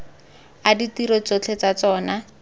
a ditiro tsotlhe tsa tsona